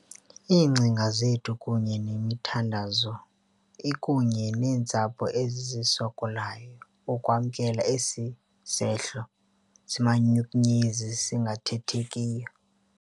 Iingcinga zethu kunye nemithandazo ikunye neentsapho ezisokolayo ukwamkela esi sehlo simanyumnyezi singathethekiyo.